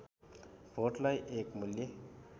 भोटलाई एक मूल्य